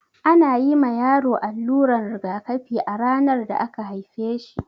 Ana yi ma yaro alluran rigakafi a ranar da aka haife shi.